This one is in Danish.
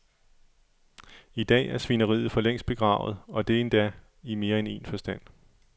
I dag er svineriet for længst begravet, og det endda i mere end en forstand.